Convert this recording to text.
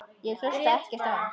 Ég hlusta ekkert á hann.